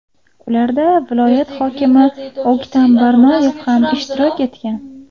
Ularda viloyat hokimi O‘ktam Barnoyev ham ishtirok etgan.